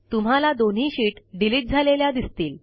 तुम्हाला दोन्ही sheet delete झालेल्या दिसतील